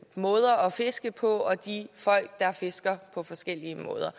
måder at fiske på og de folk der fisker på forskellige måder